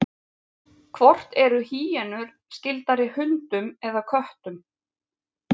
hvort eru hýenur skyldari hundum eða köttum